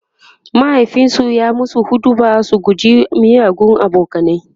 mahaifinsu ya musu huɗubar su guji miyagun abokanai